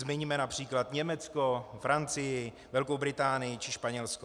Zmiňme například Německo, Francii, Velkou Británii či Španělsko.